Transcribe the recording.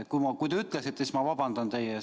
Kui te ütlesite, siis ma muidugi vabandan teie ees.